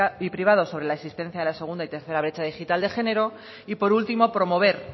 y privados sobre la existencia de la segunda y tercera brecha digital de género y por último promover